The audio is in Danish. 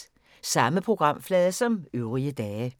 Samme programflade som øvrige dage